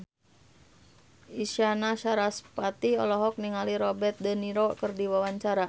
Isyana Sarasvati olohok ningali Robert de Niro keur diwawancara